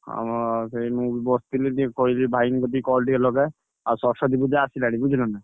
ହଁ ସେଇ ମୁଁ ବି ବସଥିଲି ଟିକେ କହିଲି ଭାଇଙ୍କି କତିକି call ଟିକେ ଲଗାଏ। ଆଉ ସରସ୍ୱତୀ ପୂଜା ଆସିଲାଣି ବୁଝିଲନା।